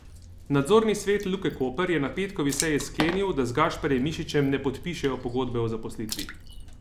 Nadzorni svet Luke Koper je na petkovi seji sklenil, da z Gašparjem Mišičem ne podpišejo pogodbe o zaposlitvi.